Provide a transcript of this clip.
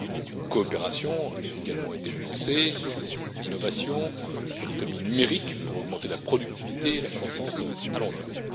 Une coopération a également été lancée sur l'innovation et sur l'économie numérique pour augmenter la productivité et la croissance à long terme.